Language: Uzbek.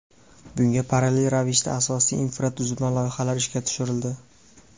Bunga parallel ravishda asosiy infratuzilma loyihalari ishga tushirildi.